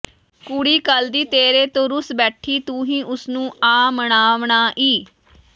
ਕੁੜੀ ਕਲ ਦੀ ਤੇਰੇ ਤੋਂ ਰੁਸ ਬੈਠੀ ਤੂੰ ਹੀ ਓਸ ਨੂੰ ਆ ਮਨਾਵਣਾ ਈ